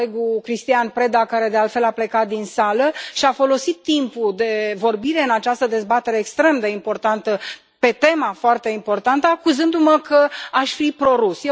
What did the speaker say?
Colegul Cristian Preda, care, de altfel, a plecat din sală, și a folosit timpul de vorbire în această dezbatere extrem de importantă pe o temă foarte importantă, acuzându mă că aș fi pro rus.